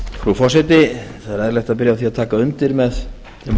er eðlilegt að byrja á því að taka undir með þeim